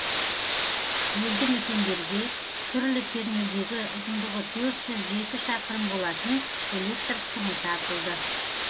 елді мекендерге түрлі кернеудегі ұзындығы төрт жүз жеті шақырым болатын электр сымы тартылды